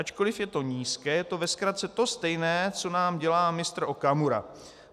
Ačkoliv je to nízké, je to ve zkratce to stejné co nám dělá mistr Okamura.